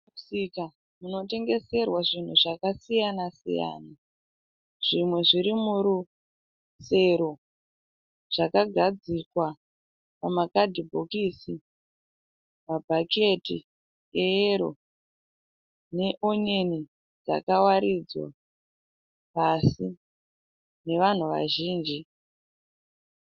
Mumusika munotengeserwa zvinhu zvakasiyana siyana. Zvimwe zviri murusero zvakagadzikwa mumakadhibhokisi, mabhaketi eyero neonyeni dzakawaridzwa pasi nevanhu vazhinji.